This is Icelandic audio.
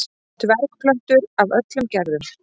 dvergplöntur af öllum gerðum